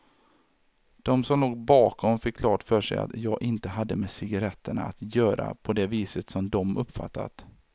De som låg bakom fick klart för sig att jag inte hade med cigaretterna att göra på det viset som de uppfattat.